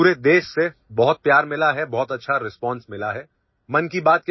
हमें पूरे देशसे बहुत प्यार मिला है बहुत अच्छा ରିସ୍ପନ୍ସ मिला है